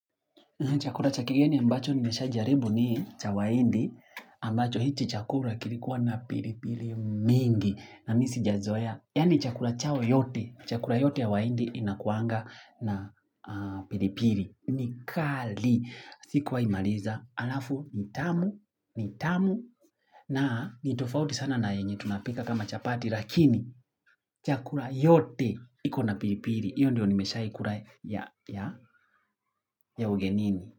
Chakula cha kigeni ambacho nimeshajaribu ni cha wahindi, ambacho hichi chakula kilikuwa na pilipili mingi, na mi sijazoea. Yaani chakula chao yote, chakula yote ya wahindi inakuanga na pilipili. Ni kali, sikuwai maliza, alafu, ni tamu, ni tamu, na ni tofauti sana na yenye tunapika kama chapati, lakini chakula yote iko na pilipili. Iyo ndio nimeshai kula ya ugenini.